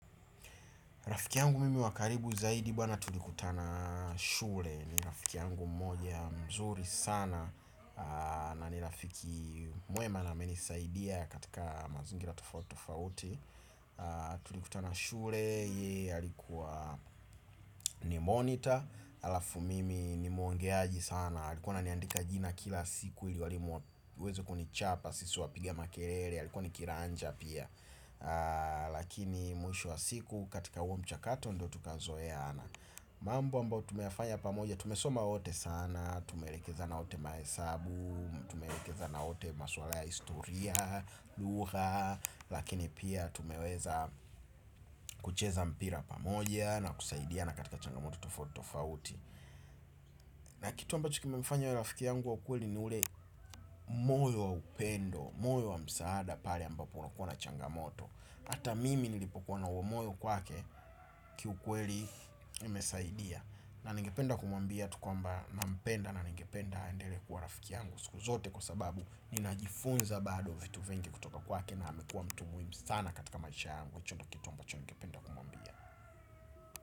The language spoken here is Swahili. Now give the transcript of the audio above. Rafiki yangu mimi wa karibu zaidi bwana tulikutana shule. Ni rafiki yangu mmoja mzuri sana. Na ni rafiki mwema na menisaidia katika mazingira tofauti tofauti. Tulikutana shule, ye alikuwa ni monitor. Alafu mimi ni muongeaji sana alikuwa ana niandika jina kila siku ili walimu waweze kunichapa. Sisi wapiga makelele, alikuwa nikiranja pia. Lakini mwisho wa siku katika uo mchakato ndo tukazoeana. Mambo ambayo tumefanya pamoja, tumesoma wote sana tumelekezana wote mahesabu, tumeelekezana wote maswala ya historia, lugha. Lakini pia tumeweza kucheza mpira pamoja na kusaidiana katika changamoto tofautitofauti. Na kitu ambacho kimemfanya awe rafiki yangu wa ukweli ni ule moyo wa upendo. Moyo wa msaada pale ambapo unakua na changamoto hata mimi nilipokuwa na huo moyo kwake kiukweli imesaidia na ningependa kumwambia tu kwamba na mpenda na ningependa eendele kuwa rafiki yangu. Siku zote kwa sababu ninajifunza bado vitu vingi kutoka kwake na amekuwa mtu muhimu sana katika maisha yangu. Icho ndo kitu ambacho ningependa kumuambia.